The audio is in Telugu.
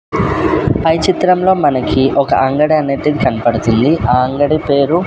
పై చిత్రంలో మనకి ఒక అంగడి అనేది కన్పడుతుంది ఆ అంగడి పేరు.